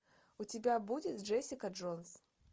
у тебя будет джессика джонс